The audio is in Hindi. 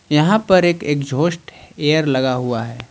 यहां पर एक एग्जास्ट एयर लगा हुआ है।